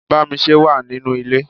Bámisé wà nínú ilé.